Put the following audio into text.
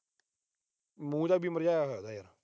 ਮੂੰਹ ਜਾ ਵੀ ਮੁਰਝਾਇਆ ਹੋਇਆ ਯਾਰ।